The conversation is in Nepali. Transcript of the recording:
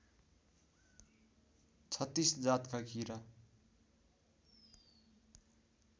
३६ जातका कीरा